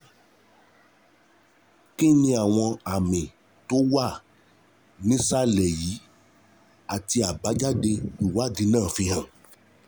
Kí ni àwọn àmì tó wà nísàlẹ̀ yìí àti àbájáde ìwádìí náà fi hàn?